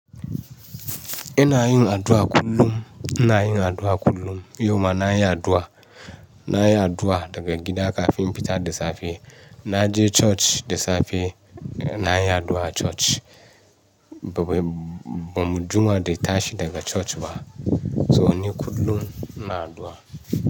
Ina yin addu'a kullum, ina yin addu'a kullum. Yauma na yi addu'a, na yi addu'a daga gida kafin fita da safe. Na je coci da safe, na yi addu'a a coci. Ba mu, ba mu juma da ta tashi daga coci ba. To ni kullum ina addu'a.